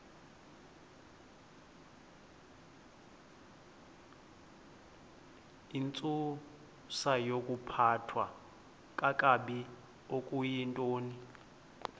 intsusayokuphathwa kakabi okuyintoni